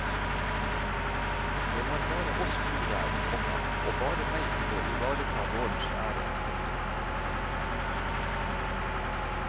Det var bare oss to der, komma og bare meg til å ivareta gårdens ære. punktum